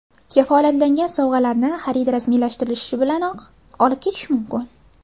Kafolatlangan sovg‘alarni xarid rasmiylashtirilishi bilanoq olib ketish mumkin.